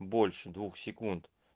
больше двух секунд